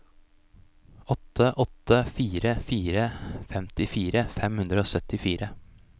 åtte åtte fire fire femtifire fem hundre og syttifire